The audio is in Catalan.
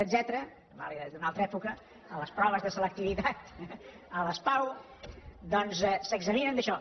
la revàlida és d’una altra època a les proves de selectivitat a les pau doncs s’examinen d’això